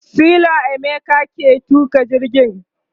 sela emeka ke tuƙa jirgin